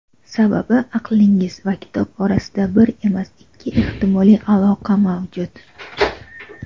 Sababi - aqlingiz va kitob orasida bir emas ikki ehtimoliy aloqa mavjud.